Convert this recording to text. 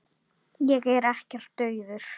Ég er ekkert daufur.